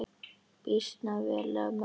Býsna vel af mörgum samin.